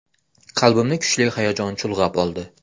Qalbimni kuchli hayajon chulg‘ab oldi.